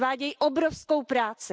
Odvádějí obrovskou práci.